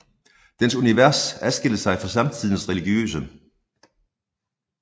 Dens univers adskilte sig fra samtidens religiøse